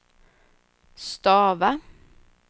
stava